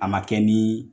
A ma kɛ ni